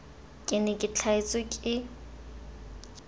ke ne ke tlhasetswe ke